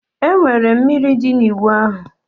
Enwere mmiri dị na ịwụ ahụ